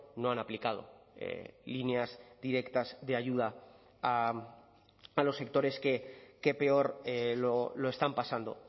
no han aplicado líneas directas de ayuda a los sectores que peor lo están pasando